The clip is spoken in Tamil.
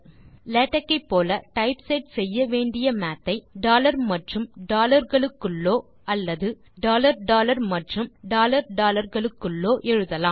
லேடக்கை போல டைப்செட் செய்ய வேண்டிய மாத் ஐ டாலர் மற்றும் டாலர் க்குள்ளோ அல்லது டாலர் டாலர் மற்றும் டாலர் டாலர் க்குள்ளோ எழுதலாம்